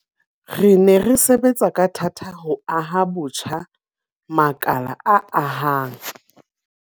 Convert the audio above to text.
Re ne re sebetsa ka thata ho aha botjha makala a akgang